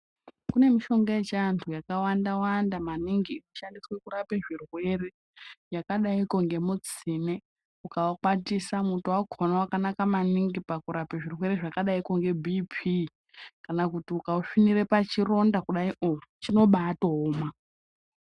Kune mishonga yechiantu yakawanda wanda maningi inoshandiswe kurapa zvirwere yakadaiki ngemitsine ukaukwatisa muto wakona wakanaka maningi pakurapa zvirwere zvakadaiki ngebhipi kana kuti ukausvininire pachironda kudaio chinobatooma.